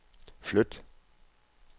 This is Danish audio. flyt